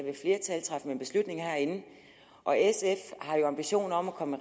man beslutninger herinde og sf har ambitioner om at komme